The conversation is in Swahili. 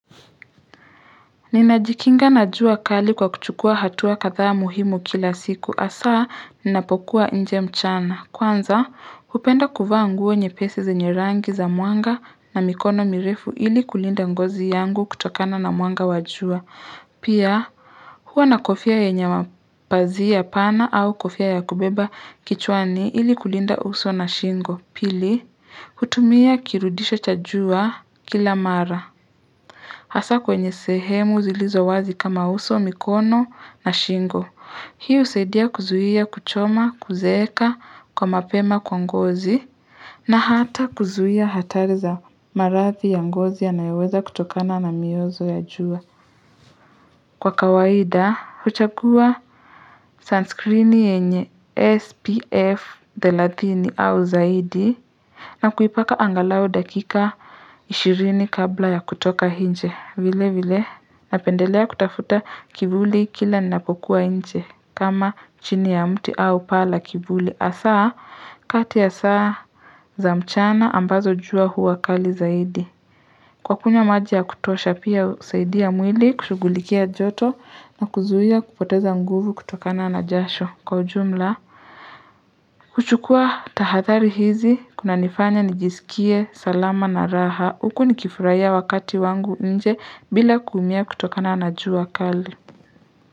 Ninajikinga na jua kali kwa kuchukua hatua kadhaa muhimu kila siku hasaa ninapokuwa nje mchana kwanza hupenda kuvaa nguo nyepesi zenye rangi za mwanga na mikono mirefu ili kulinda ngozi yangu kutokana na mwanga wa jua pia huwa na kofia yenye mapazia pana au kofia ya kubeba kichwani ili kulinda uso na shingo pili hutumia kirudisho cha jua kila mara hasa kwenye sehemu zilizo wazi kama uso mikono na shingo hii husaidia kuzuia kuchoma kuzeeka kwa mapema kwa ngozi na hata kuzuia hatari za maradhi ya ngozi yanayoweza kutokana na miozo ya jua kwa kawaida huchagua sunscreen yenye spf thelathini au zaidi na kuipaka angalau dakika 20 kabla ya kutoka nje vile vile Napendelea kutafuta kivuli kila ninapokuwa nje kama chini ya mti au paa la kivuli hasaa kati ya saa za mchana ambazo jua huwa kali zaidi Kwa kunywa maji ya kutosha pia husaidia mwili kushughulikia joto na kuzuia kupoteza nguvu kutokana na jasho kwa ujumla kuchukua tahadhari hizi kunanifanya nijisikie salama na raha huku nikifurahia wakati wangu nje bila kuumia kutokana na jua kali.